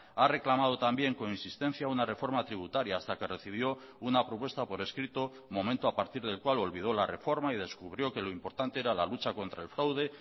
ha reclamado también con insistencia una reforma tributaria hasta que recibió una propuesta por escrito momento a partir del cual olvidó la reforma y descubrió que lo importante era la lucha contra el fraude